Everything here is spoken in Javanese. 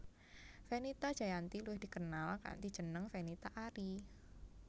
Fenita Jayanti luwih dikenal kanthi jeneng Fenita Arie